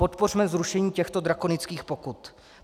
Podpořme zrušení těchto drakonických pokut.